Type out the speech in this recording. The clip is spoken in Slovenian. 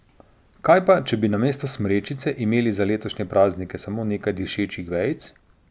Kaj pa, če bi namesto smrečice imeli za letošnje praznike samo nekaj dišečih vejic?